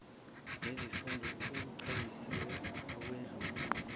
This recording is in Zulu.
nezifunda akuchaziwe ukwedlula